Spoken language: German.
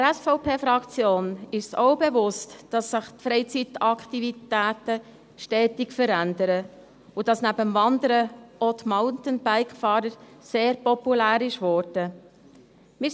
Auch der SVP-Fraktion ist es bewusst, dass sich die Freizeitaktivitäten stetig verändern und dass neben dem Wandern auch das Mountainbike-Fahren sehr populär geworden ist.